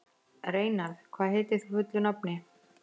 Reynarð, hvað heitir þú fullu nafni?